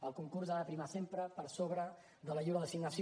el concurs ha de prevaldre sempre per sobre de la lliure designació